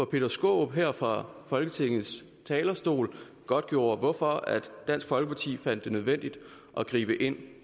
peter skaarup her fra folketingets talerstol godtgjorde hvorfor dansk folkeparti fandt det nødvendigt at gribe ind